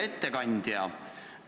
Hea ettekandja!